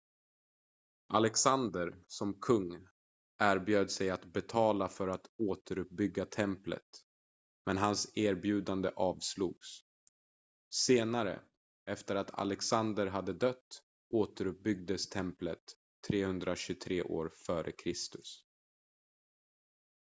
alexander som kung erbjöd sig att betala för att återuppbygga templet men hans erbjudande avslogs senare efter att alexander hade dött återuppbyggdes templet 323 f.kr